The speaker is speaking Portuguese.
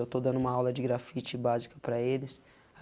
Eu estou dando uma aula de grafite básica para eles.